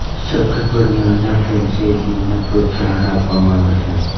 સખત બન્યા વિના ફ્રેન્ચાઇઝીંગને પ્રોત્સાહન આપવામાં આવે છે